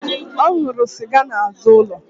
Ọ nwụrụ sịga n'azụ ụlọ